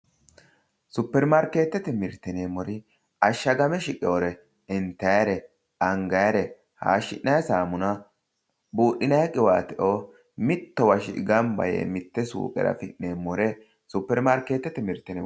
Supperimarkeettete mirte yineemmori ashshagame shiqeyoore intayiire angyaiire hayyeshi'nayi saamuna buudhinayi qiwaateo mittowa shiqe gamba yiinore mitte suuqera afi'nannireeti